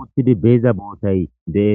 uttidi beeza bootay deees